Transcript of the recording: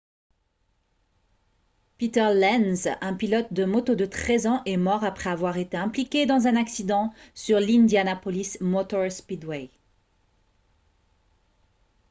peter lenz un pilote de moto de 13 ans est mort après avoir été impliqué dans un accident sur l'indianapolis motor speedway